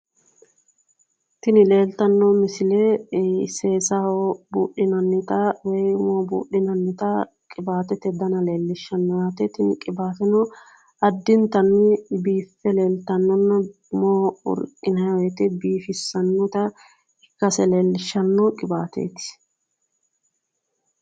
Tini leeltanno misile seesaho buudhinannita woyi umoho buudhinannita qiwaatete dana leellishshano yaate. Tini qiwaateno addintanni biiffe leeltannonna umoho riqqinayi woyite biifissannota ikkase leellishshanno qiwaateeti.